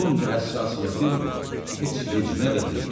Bunca həssasiyyətim heç vecinə də deyildi.